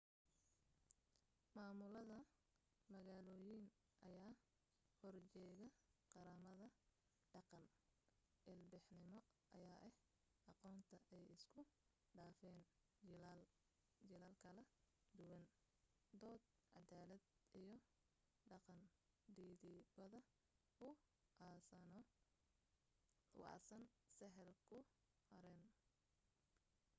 maamulada-magaaloyin ayaa horjeege qaramada dhaqan ilbaxnimo ayaa ah aqoonta ay isku dhaafan jiilal kala duwan dood cadaalada iyo dhaqan dhidibada u aasano sahal ku harin